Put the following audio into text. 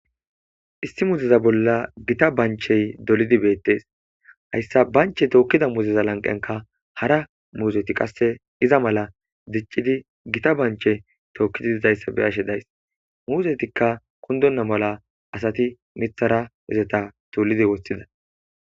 Issi misleza bolla githa banchchee dolidi beeththes; hayssa banchche tookkiza muuzetha lanqqenkka hara muuzethi qa iza mala diccidi githa banchchee tookkidi dizayssa be7ashe days; muuzetikka kunddonna mala asathi miththera izetha cuullidi woththiza.